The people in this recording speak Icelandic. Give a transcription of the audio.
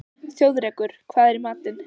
Þjóðrekur, hvað er í matinn?